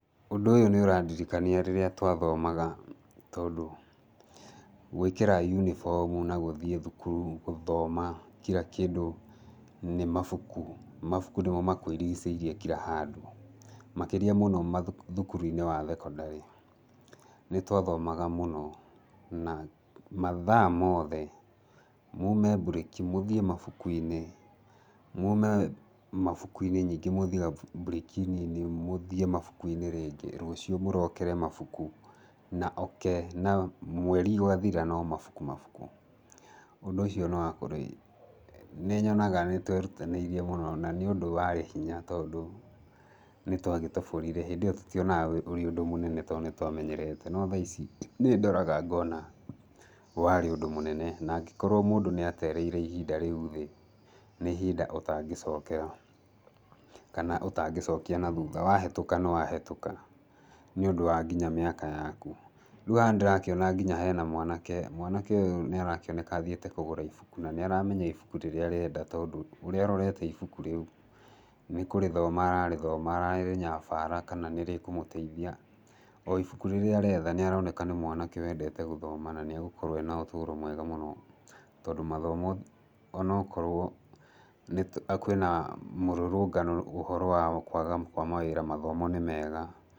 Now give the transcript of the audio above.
Ũndũ ũyũ nĩũrandirikania rĩrĩa twathomaga tondũ gwĩkĩra yũnibomũ na gũthiĩ thũkũrũ gũthoma kira kĩndũ nĩ mabũkũ. Mabũkũ nĩmo makũirigĩcĩrie kira handũ. Makĩrĩa mũno mathũkũ thĩkĩrĩ-inĩ wa thekondarĩ. Nĩtwathomaga mũno na mathaa mothe mũme mbũreki, mũthiĩ mabũkũ-inĩ, mũme mabũkũ-inĩ ningĩ mũthiĩ gabũ mbũreki nini mũthiĩ mabũkũ-inĩ rĩngĩ. Ningĩ rũciũ mũrokere mabũkũ na oke na mweri ũgathira na no mabũkũ mabũkũ. Ũndũ ũcio nũwakũrĩ nĩnyonaga nĩtwerũtanĩirie mũno na nĩũndũ warĩ hinya tondũ nĩtwagĩtoborire. Hĩndĩ ĩyo tũtionaga ũrĩ ũndũ mũnene tondũ nĩtwamenyerete no tha ici nĩndoraga ngona warĩ ũndũ mũnene na angĩkorwo mũndũ nĩatereire ihinda rĩũ thĩ, nĩihinda ũtangĩcokera kana ũtangĩcokia nathũtha. Wahetũka nĩwahetũka nĩũndũ wa nginya mĩaka yakũ. Rĩũ haha nĩndĩrakĩona nginya hena mwanake, mwanake ũyũ nĩarakĩoneka athiĩte kũgũra ibũkũ, na nĩaramenya ibũkũ rĩrĩa arenda tondũ ũrĩa arorete ibũkũ rĩũ nĩkũrĩthoma ararĩthoma ararĩnyabara kana nĩrĩkũmũteithia. O ibũkũ rĩrĩa aretha nĩaroneka nĩ mwanake wendete gũthoma na nĩagũkorwo arĩ na ũtũro mwega mũno, tondũ mathomo anokorwo nĩtũ kwĩna mũrũrũngano ũhoro wa kwaga kwa mawĩra mathomo nĩmega.